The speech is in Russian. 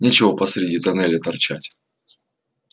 нечего посреди туннеля торчать